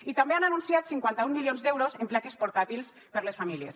i també han anunciat cinquanta un milions d’euros en plaques portàtils per a les famílies